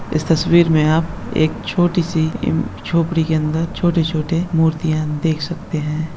इस तस्वीर मे आप एक छोटी सी झोपड़ी के अंदर छोटे-छोटे मूर्तियाँ देख सकते हैं।